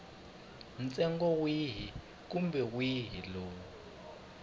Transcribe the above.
ntsengo wihi kumbe wihi lowu